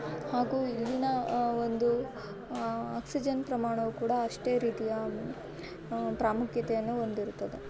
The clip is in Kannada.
ಹಾಗೂ ಇಲ್ಲಿನ ಆ ಒಂದು ಆ ಆಕ್ಸಿಜನ್ ಪ್ರಮಾಣವೂ ಕೂಡ ಅಷ್ಟೇ ರೀತಿಯ ಆ ಪ್ರಾಮುಖ್ಯತೆಯನ್ನು ಹೊಂದಿರುತ್ತದೆ .